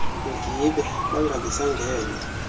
mgibe bangabi sangena